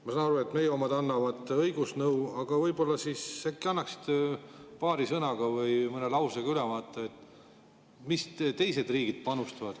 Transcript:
Ma saan aru, et meie omad annavad õigusnõu, aga võib-olla annaksite paari sõnaga või mõne lausega ülevaate, mis teised riigid panustavad.